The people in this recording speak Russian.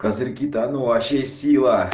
козырьки-то а ну вообще сила